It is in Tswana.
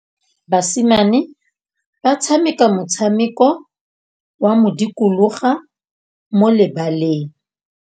Basimane ba tshameka motshameko wa modikologô mo lebaleng.